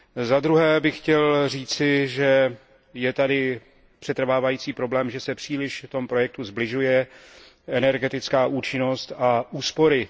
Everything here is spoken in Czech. Zadruhé bych chtěl říci, že je tady přetrvávající problém, že se v tom projektu příliš sbližuje energetická účinnost a úspory.